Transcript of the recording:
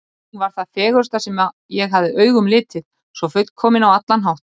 Hún var það fegursta sem ég hafði augum litið, svo fullkomin á allan hátt.